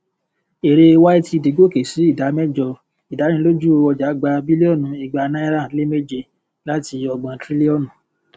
èrè ytd goke sí ìdá mẹjọ ìdánilójú ọjà gba bílíọnù igba náírà lé méje láti ògbon trílíọnù